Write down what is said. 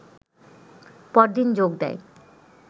পরদিন যোগ দেয়